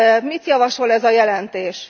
Mit javasol ez a jelentés?